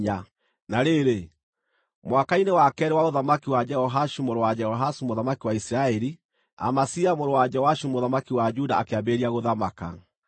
Na rĩrĩ, mwaka-inĩ wa keerĩ wa ũthamaki wa Jehoashu mũrũ wa Jehoahazu mũthamaki wa Isiraeli, Amazia mũrũ wa Joashu mũthamaki wa Juda akĩambĩrĩria gũthamaka.